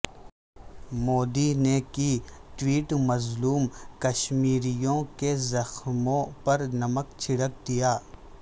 مودی نے کی ٹویٹ مظلوم کشمیریوں کے زخموں پر نمک چھڑک دیا